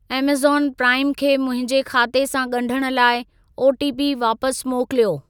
Amazon Prime खे मुंहिंजे खाते सां ॻंढण लाइ ओटीपी वापस मोकिलियो।